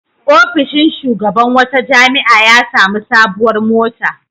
Ofishin shugaban wata jami'a ya sami sabuwar mota.